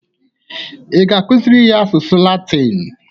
Ị ga-akụzịrị ya asụsụ latin?